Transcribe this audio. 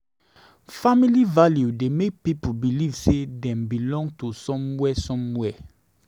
Family value dey make pipo believe sey dem belong to somewhere somewhere.